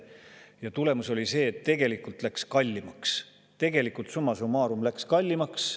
Ja tulemus oli see, et tegelikult läks kallimaks, summa summarum läks kallimaks.